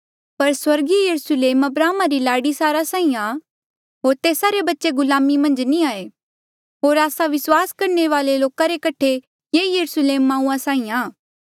पर स्वर्गा रा यरुस्लेम अब्राहमा री लाड़ी सारा साहीं आ होर तेस्सा रे बच्चे गुलाम मन्झ नी ऐें होर आस्सा विस्वास करणे वाले लोका रे कठे ये यरुस्लेम माऊआ साहीं आ